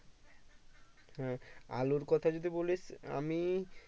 হ্যাঁ আলুর কথা যদি বলিস আমি